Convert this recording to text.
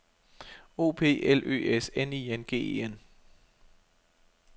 O P L Ø S N I N G E N